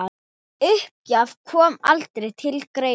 Uppgjöf kom aldrei til greina.